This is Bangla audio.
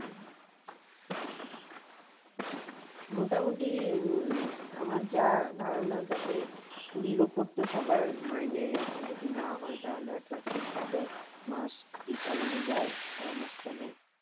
মোটামুটি উম আমার যা ধারণা তাতে কুড়ির উপর তো সবার মাইনেই এখন যদি না হয় তাহলে একটা ঠিক ভাবে মাস কি চালানো যায়? সারা মাস চলে?